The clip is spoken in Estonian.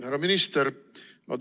Härra minister!